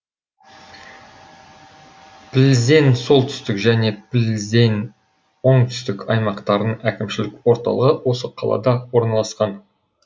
пльзень солтүстік және пльзень оңтүстік аймақтарының әкімшілік орталығы осы қалада орналасқан